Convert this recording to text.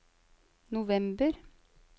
november